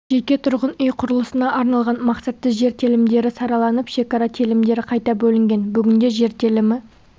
жеке тұрғын-үй құрылысына арналған мақсатты жер телімдері сараланып шекара телімдері қайта бөлінген бүгінде жер телімі